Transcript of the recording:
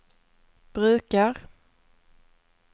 brukar